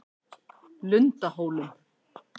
Lundahólum